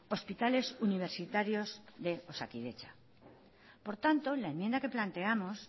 hospitales universitarios de osakidetza por tanto la enmienda que planteamos